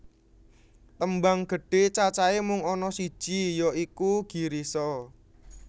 Tembang gedhe cacahe mung ana siji ya iku Girisa